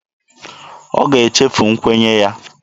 Ọ ga-echefu nkwenye ya.